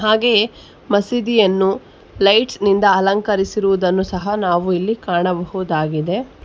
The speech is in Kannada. ಹಾಗೆಯೇ ಮಸೀದಿಯನ್ನು ಲೈಟ್ಸ್ ನಿಂದ ಅಲಂಕರಿಸಿರುವುದನ್ನು ಸಹ ನಾವು ಇಲ್ಲಿ ಕಾಣಬಹುದಾಗಿದೆ.